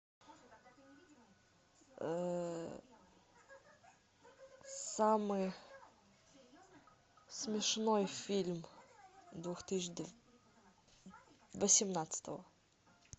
самый смешной фильм две тысячи восемнадцатого